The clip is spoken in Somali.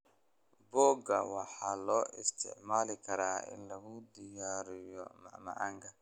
Boga waxaa loo isticmaali karaa in lagu diyaariyo macmacaanka.